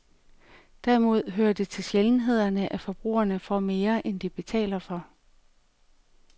Derimod hører det til sjældenhederne, at forbrugerne får mere, end de betaler for.